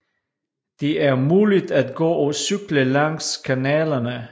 De er muligt at gå og cykle langs kanalerne